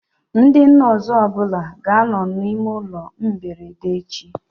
Ndị nọsụ ọbụla ga anọ na ime ụlọ mberede echi